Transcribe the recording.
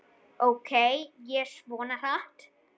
Ók ég svona hratt?